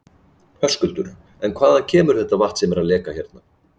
Höskuldur: En hvaðan kemur þetta vatn sem er að leka hérna?